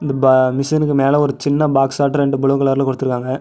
இப்ப மிஷினுக்கு மேல ஒரு சின்ன பாக்ஸ்சாட்டோ ரெண்டு ப்ளூ கலர்ல குடுத்துருக்காங்க.